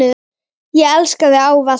Ég elska þig ávallt.